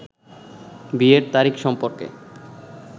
বিয়ের তারিখ সম্পর্কে